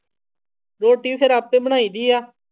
ਰੋਟੀ ਫਿਰ ਆਪੇ ਬਣਾਈਦੀ ਆ।